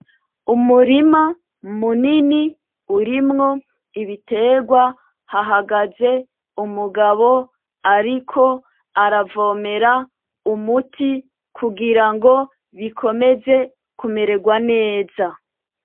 Umurima munini urimwo biterwa hahagaze umugabo ariko aravomera umuti kugirango bikomeze kumererwa neza .